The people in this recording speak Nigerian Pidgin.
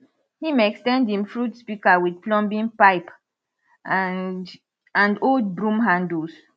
him ex ten d him fruit pika with plumbing pipe and and old broom handles